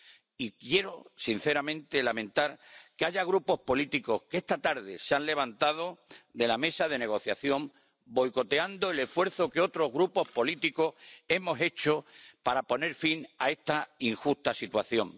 Y quiero, sinceramente, lamentar que ciertos grupos políticos esta tarde se hayan levantado de la mesa de negociación, boicoteando el esfuerzo que otros grupos políticos hemos hecho para poner fin a esta injusta situación.